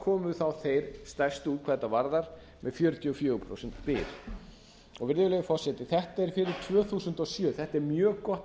komu þá þeir stærstu út hvað þetta varðar með fjörutíu og fjögur prósent byr virðulegur forseti þetta er fyrir tvö þúsund og sjö þetta er mjög gott